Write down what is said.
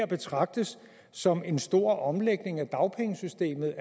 betragtes som en stor omlægning af dagpengesystemet